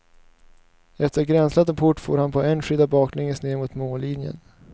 Efter att ha gränslat en port for han på en skida baklänges ner mot mållinjen.